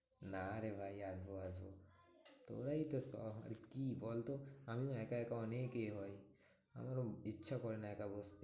না রে ভাই আসবো আসবো। তোরাই তো সব আর কি বলতো? আমিও একা একা অনেক ই হই আমার ইচ্ছা করে না একা বসে